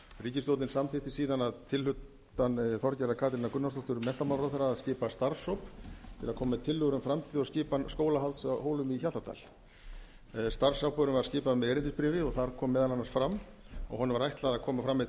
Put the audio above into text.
ríkisstjórnin samþykkti síðan að tilhlutan þorgerðar katrínar gunnarsdóttur menntamálaráðherra að skipa starfshóp til að koma með tillögur um framtíð og skipan skólahalds á hólum í hjaltadal starfsákvörðunin var skipuð með erindisbréfi og þar kom meðal annars fram að honum var ætlað að koma fram með